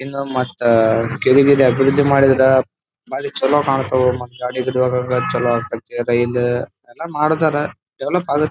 ಇನ್ನು ಮತ್ತ ಕೆಳಗಡೆ ಅದ್ರದು ಮಾಡಿದ್ರೆ ಭಾರಿ ಚಲೋ ಕಾಣ್ತವೆ. ಮತ್ ಗಾಡಿ ಗೀಡಿ ಹೋಗಾಕ ಚಲೋ ಅಕತ್ತಿ ರೈಲ್ ಎಲ್ಲಾ ಮಾಡತಾರ ಡೆವೆಲೊಪ್ ಆಗತ್ತ .